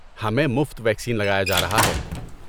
ہمیں مفت ویکسین لگایا جا رہا ہے۔